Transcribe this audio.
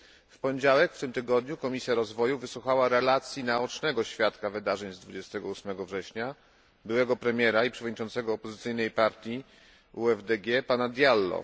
W poniedziałek, w tym tygodniu, Komisja Rozwoju wysłuchała relacji naocznego świadka wydarzeń z 28 września, byłego premiera i przewodniczącego opozycyjnej partii UFDG pana Diallo.